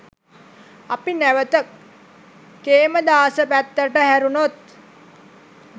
අපි නැවත කේමදාස පැත්තට හැරුණොත්